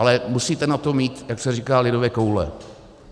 Ale musíte na to mít, jak se říká lidově, koule.